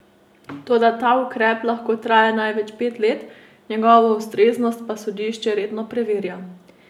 Toda ta ukrep lahko traja največ pet let, njegovo ustreznost pa sodišče redno preverja.